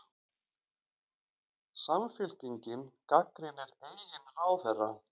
Samfylkingin gagnrýnir eigin ráðherra